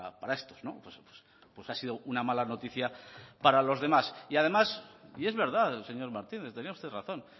para estos pues ha sido una mala notica para los demás y es verdad señor martínez tenía usted razón